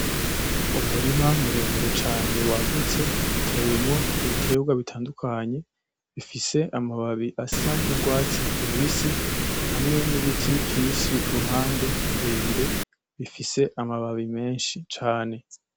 Umurima muremure cane wagutse utewemo ibiterwa bitandukanye, bifise amababi asa n'urwatsi rubisi hamwe n'ibiti vyinshi ruhande birebire bifise amababi menshi cane.